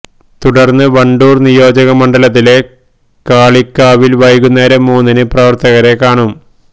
തുടര്ന്ന് വണ്ടൂര് നിയോജക മണ്ഡലത്തിലെ കാളികാവില് വൈകുന്നേരം മൂന്നിന് പ്രവര്ത്തകരെ കാണും